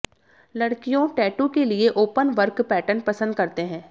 लड़कियों टैटू के लिए ओपनवर्क पैटर्न पसंद करते हैं